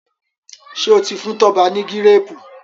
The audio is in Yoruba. ṣe o tí fún Toba ni Gírèèpù?